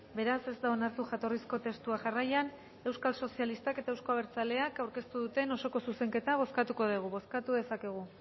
beraz ez da onartu jatorrizko testua jarraian euskal sozialistak eta euzko abertzaleak aurkeztu duten osoko zuzenketa bozkatuko dugu bozkatu dezakegu